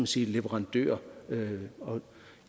sige leverandør